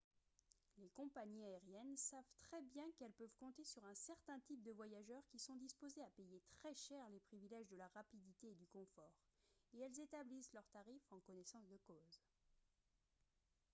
les compagnies aériennes savent très bien qu'elles peuvent compter sur un certain type de voyageurs qui sont disposés à payer très cher les privilèges de la rapidité et du confort et elles établissent leurs tarifs en connaissance de cause